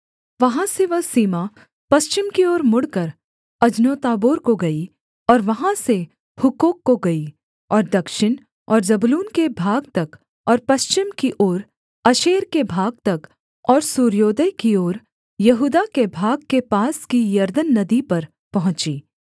वहाँ से वह सीमा पश्चिम की ओर मुड़कर अजनोत्ताबोर को गई और वहाँ से हुक्कोक को गई और दक्षिण और जबूलून के भाग तक और पश्चिम की ओर आशेर के भाग तक और सूर्योदय की ओर यहूदा के भाग के पास की यरदन नदी पर पहुँची